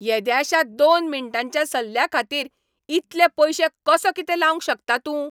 येद्याश्या दोन मिनटांच्या सल्ल्याखातीर इतले पयशे कसो कितें लावंक शकता तूं?